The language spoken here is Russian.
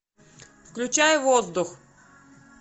включай воздух